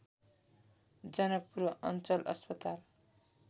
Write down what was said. जनकपुर अञ्चल अस्पताल